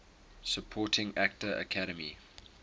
supporting actor academy